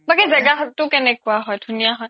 তাকে জেগাটো কেনেকুৱা হয় ধুনীয়া হয়